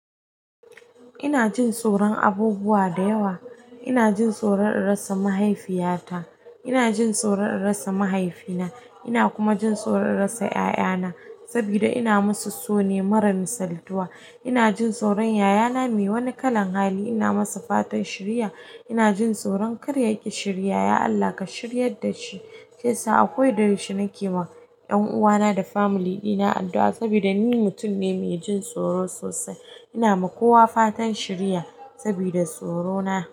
Ina jin tsoron abubuwa da yawa. Ina jin soron in rasa mahaifiyata ina jin soron in rasa mahaifina ina kuma jin soron in rasa ƴaƴana saboda ina masu so ne mara misaltuwa ina jin tsoron yayana me wani kalan hali, ina masa fatan shiriya. Ina jin tsoron karya yaƙi shiriya, ya Allah ka shiryar dashi. Hesa akoda yaushe nake ma ƴan uwana da familina addu'a saboda ni mutum ne me jin tsoro sosai. Ina ma kowa fatan shiriya sabida tsorona.